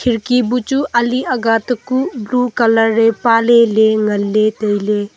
kherki bu chu ali aga takuh blue colour e pa lele ngan le taile.